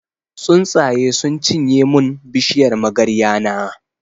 Tsuntsaye sun cinye mun bishiyar magarya na.